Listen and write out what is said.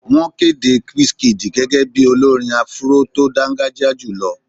Wọ́n kéde Wizkid gẹ́gẹ́ bíi olórin áfúró tó dángájíá jùlọ